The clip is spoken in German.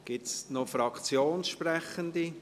Gibt es noch Fraktionssprechende?